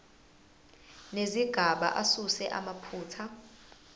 nezigaba asuse amaphutha